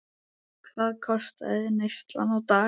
Hvað kostaði neyslan á dag?